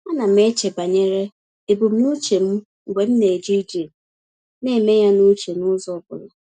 A na m eche banyere ebumnuche m mgbe m na-eje ije, na-eme ya n’uche n’ụzọ ọ bụla.